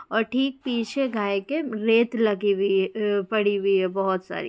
और ठीक पीछे गाय के रेत लगी हुई अ पड़ी हुई है बहुत सारी।